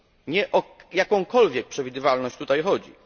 Nie o jakąkolwiek przewidywalność tutaj chodzi.